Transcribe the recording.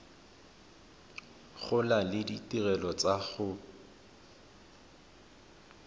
gola le ditirelo tsa go